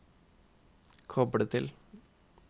koble til